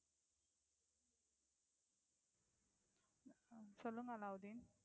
சொல்லுங்க அலாவுதீன்.